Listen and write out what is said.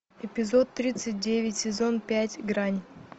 эпизод тридцать девять сезон пять грань